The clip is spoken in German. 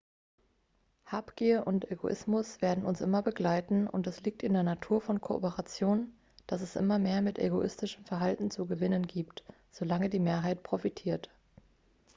habgier und egoismus werden uns immer begleiten und es liegt in der natur von kooperation dass es immer mehr mit egoistischem verhalten zu gewinnen gibt solange die mehrheit profitiert